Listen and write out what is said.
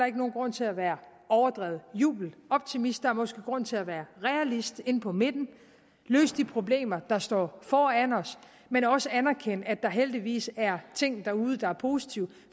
ikke nogen grund til at være overdreven jubeloptimist der er måske grund til at være realist inde på midten at løse de problemer der står foran os men også anerkende at der heldigvis er ting derude der er positive